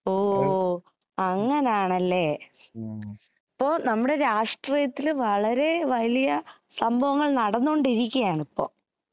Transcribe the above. ഓ അങ്ങനെയാണല്ലേ അപ്പൊ നമ്മുടെ രാഷ്ട്രീയത്തില് വളരെ വലിയ സംഭവങ്ങൾ നടന്നുകൊണ്ടിരിക്കയാണ് ഇപ്പൊ